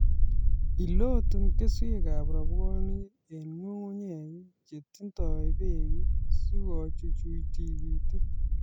Ilotu keswekab rabwonik eng nyung'unyek che tindoi beek sikochuchuch tikitik